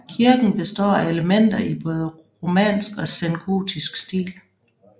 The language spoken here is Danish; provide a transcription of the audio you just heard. Kirken består af elementer i både romansk og sengotisk stil